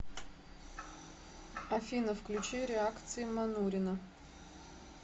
афина включи реакции манурина